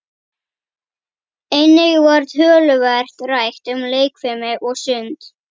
Einnig var töluvert rætt um leikfimi og sund.